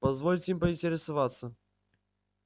позвольте поинтересоваться